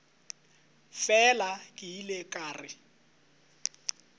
fela ke ile ka re